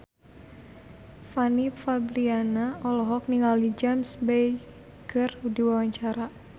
Fanny Fabriana olohok ningali James Bay keur diwawancara